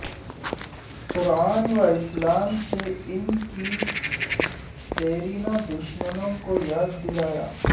قران و اسلام سے ان کی دیرینہ دشمنیوں کو یاد دلایا